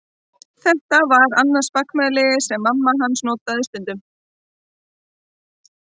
Þetta var annað spakmæli sem mamma hans notaði stundum.